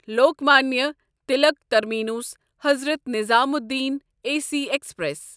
Lokmanya Tilak terminus Hazrat Nizamuddin A C express